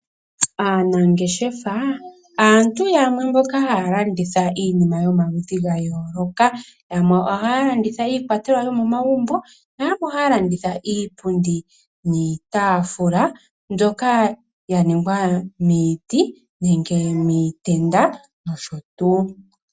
Aanangeshefa aantu yamwe mboka haya landitha iinima yomaludhi ga yooloka yamwe ohaya landitha iikwatelwa yo momagumbo nayamwe ohaya landitha iipundi niitaafula mbyoka yaningwa miiti nenge miitaafula